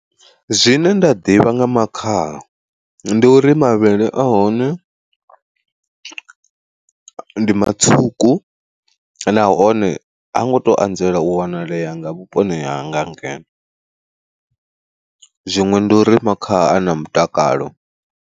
Zwine nda ḓivha nga makhaha, ndi uri mavhele ahone ndi matswuku nahone ha ngo to anzela u wanalea nga vhuponi hanga ngeno, zwiṅwe ndi uri makhaha ana mutakalo.